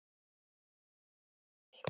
En þú kenndir mér vel.